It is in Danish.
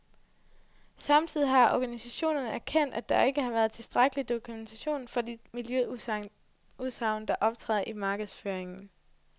Samtidig har organisationerne erkendt, at der ikke har været tilstrækkelig dokumentation for de miljøudsagn, der optræder i markedsføringen.